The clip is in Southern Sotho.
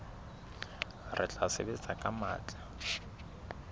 re tla sebetsa ka matla